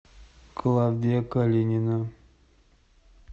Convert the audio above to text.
клавдия калинина